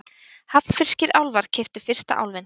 Hafnfirskir álfar keyptu fyrsta Álfinn